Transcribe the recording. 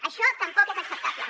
això tampoc és acceptable